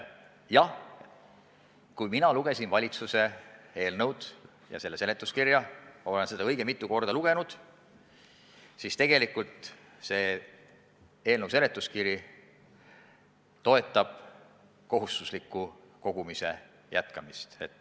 Jah, kui mina lugesin valitsuse eelnõu ja selle seletuskirja – olen seda õige mitu korda lugenud –, siis nägin, et tegelikult see toetab kohustusliku kogumise jätkamist.